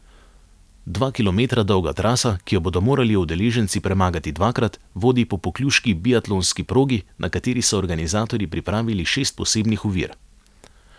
Dva kilometra dolga trasa, ki jo bodo morali udeleženci premagati dvakrat, vodi po pokljuški biatlonski progi, na kateri so organizatorji pripravili šest posebnih ovir.